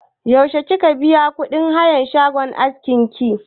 Yaushe kika biya kuɗin hayan shagon askin ki?